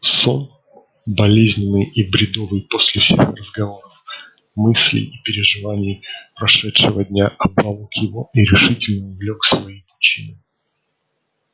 сон болезненный и бредовый после всех разговоров мыслей и переживаний прошедшего дня обволок его и решительно увлёк в свои пучины